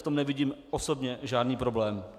V tom nevidím osobně žádný problém.